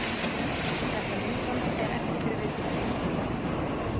Þetta myndband er ekki fyrir viðkvæma.